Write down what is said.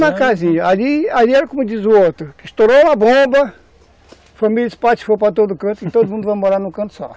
Na mesma casinha, ali ali era como diz o outro, estourou a bomba, família espatifou para todo canto e todo mundo vai morar em um canto só.